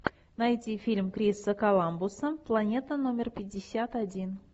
найти фильм криса коламбуса планета номер пятьдесят один